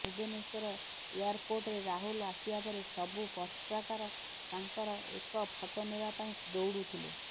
ଭୁବନେଶ୍ୱର ଏୟାରପୋର୍ଟରେ ରାହୁଲ ଆସିବା ପରେ ସବୁ ପତ୍ରକାର ତାଙ୍କର ଏକ ଫଟୋ ନେବା ପାଇଁ ଦୌଡୁଥିଲେ